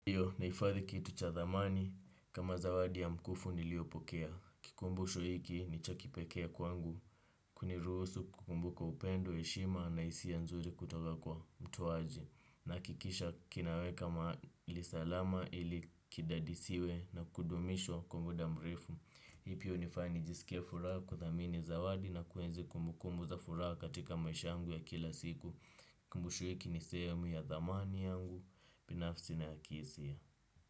Ndio, nahifadhi kitu cha dhamani, kama zawadi ya mkufu niliopokea. Kikumbusho hiki ni cha kipekee kwangu. Kuniruhusu kukumbuka upendo, heshima na hisia nzuri kutoka kwa mtoaji. Nahakikisha kinaweka mahali salama ili kidadisiwe na kudumishwa kwa muda mrefu. Hivyo hunifanya nijisikie furaha kuthamini zawadi na kuenzi kumbu kumbu za furaha katika maisha yangu ya kila siku. Kikumbusho hiki ni sehemu ya thamani yangu binafsi na kihisia.